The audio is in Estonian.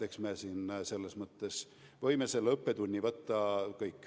Eks me siin selles mõttes saime õppetunni kõik.